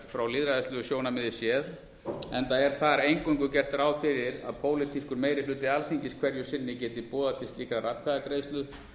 frá lýðræðislegu sjónarmiði séð enda er þar eingöngu gert ráð fyrir að pólitískur meiri hluti alþingis hverju sinni geti boðað til slíkrar atkvæðagreiðslu